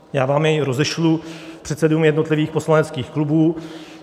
Já vám jej rozešlu - předsedům jednotlivých poslaneckých klubů.